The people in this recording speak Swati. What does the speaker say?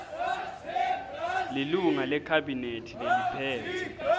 lilunga lekhabhinethi leliphetse